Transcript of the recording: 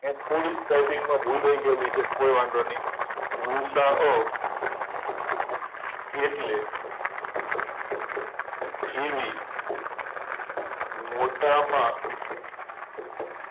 આયા થોડીક ટાઈપીંગમાં ભૂલ રય ગયેલી છે કાય વાંધો નય ગુસાઅ એટલે થીની મોટામાં